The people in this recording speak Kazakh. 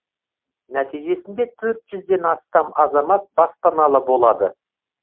нәтижесінде төрт жүзден астам азамат баспаналы болады